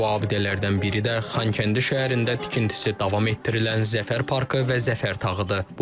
Bu abidələrdən biri də Xankəndi şəhərində tikintisi davam etdirilən Zəfər parkı və Zəfər tağıdır.